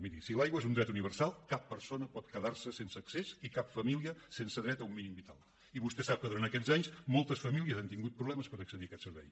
miri si l’aigua és un dret universal cap persona pot quedar se sense accés i cap família sense dret a un mínim vital i vostè sap que durant aquests anys moltes famílies han tingut problemes per accedir a aquest servei